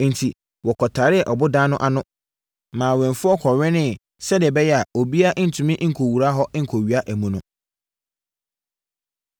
Enti, wɔkɔtaree ɔboda no ano, maa awɛmfoɔ kɔwɛneeɛ sɛdeɛ ɛbɛyɛ a, obiara ntumi nkɔwura hɔ nkɔwia amu no.